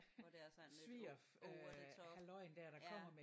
Hvor der er sådan lidt over over the top ja